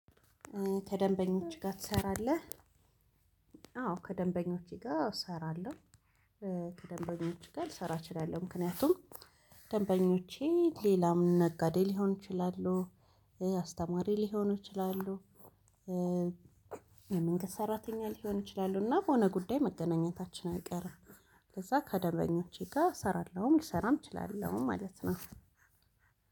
ከደንበኞችህ ጋር ትሰራለህ? አዎ ከደንበኞቼ ጋር እሰራለሁ ከደንበኞች ጋር ልሰራ እችላለሁ ምክንያቱም ደንበኞቼ ሌላም ነጋዴ ሊሆን ይችላሉ አስተማሪ ሊሆኑ ይችላሉ የመንግስት ሰራተኛ ሊሆኑ ይችላሉ እና በሆነ ጉዳይ መገናኘታችን አይቀርም ከዛ ከደንበኞቼ ጋር እሰራለሁም ሊሰራም እችላለሁ ማለት ነው